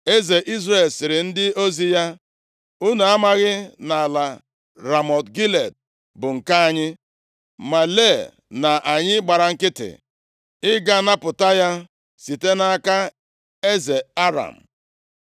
Eze Izrel sịrị ndị ozi ya, “Unu amaghị na ala Ramọt Gilead bụ nke anyị, ma lee na anyị gbara nkịtị ịga napụta ya site nʼaka eze Aram?”